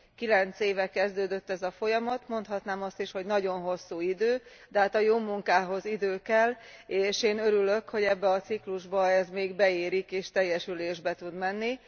Kilenc éve kezdődött ez a folyamat, mondhatnám azt is, hogy nagyon hosszú idő, de hát a jó munkához idő kell, és én örülök, hogy ebben a ciklusban ez még beérik és teljesülésbe tud menni.